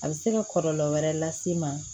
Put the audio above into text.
A bɛ se ka kɔlɔlɔ wɛrɛ las'i ma